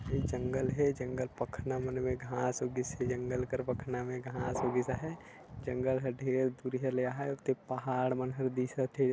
ये जंगल हे जंगल पखना मन में घास उगीसे जंगल कर पखना में घास उगीस हय जंगल ह ढेर दूरियां ले हवय जे ह पहाड़ मन ह दिसत हे।